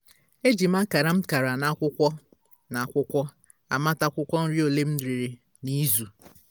eji m akara m kara n'akwụkwọ n'akwụkwọ a mata akwụkwọ nri ole m rere na izu